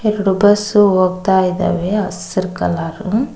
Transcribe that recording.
ಎರಡು ಬಸ್ಸು ಹೋಗ್ತಾ ಇದ್ದಾವೆ ಹಸ್ರು ಕಲರು.